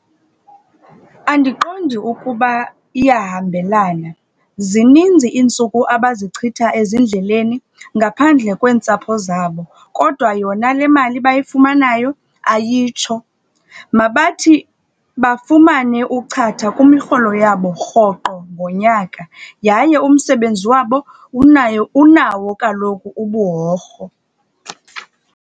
Andiqondi ukuba iyahambelana. Zininzi iintsuku abazichitha ezindleleni ngaphandle kweentsapho zabo, kodwa yona le mali bayifumanayo ayitsho. Mabathi bafumane uchatha kwimirholo yabo rhoqo ngonyaka. Yaye umsebenzi wabo unaye unawo kaloku ubuworho.